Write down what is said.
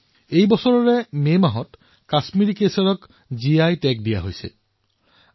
এই বছৰৰ মে মাহত কাশ্মীৰি কেশৰক জিঅগ্ৰাফিকেল ইণ্ডিকেচন টেগ অৰ্থাৎ জিআই টেগ প্ৰদান কৰা হৈছে